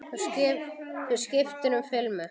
Þú skiptir um filmu!